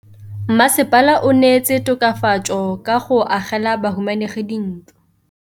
Mmasepala o neetse tokafatsô ka go agela bahumanegi dintlo.